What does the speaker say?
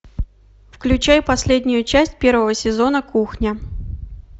включай последнюю часть первого сезона кухня